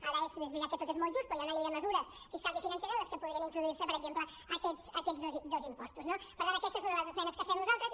ara és veritat que tot és molt just però hi ha una llei de mesures fiscals i financeres a les quals podrien introduir·se per exemple aquests dos impostos no per tant aquesta és una de les esmenes que fem nosaltres